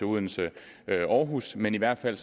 odense aarhus men i hvert fald